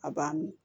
A b'a min